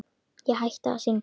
Ég hætti að syngja.